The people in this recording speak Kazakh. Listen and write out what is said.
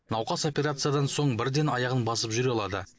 науқас операциядан соң бірден аяғын басып жүре алады